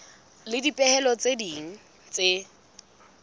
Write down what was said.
le dipehelo tse ding tse